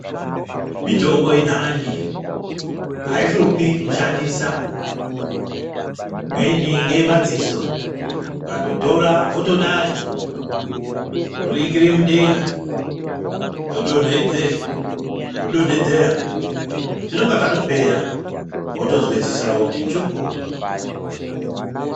Mitombo inani haishupi kushandisa imweni ngeye madziso ukandotora wotodai voringire mudenga wodonhedzera zvinonga zvatopera wotozwa ziso rako kuti njukuu.